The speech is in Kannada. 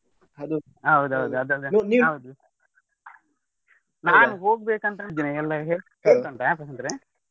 ಅದು ಹೌದೌದು ಅದೆಲ್ಲಾ ಹೌದು. ನಾನು ಹೋಗ್ಬೇಕಂತ ಇದ್ದೇನೆ ಎಲ್ಲಾ ಕೇಳ್ತಾ ಉಂಟಾ ಪ್ರಶಾಂತ್ರೇ?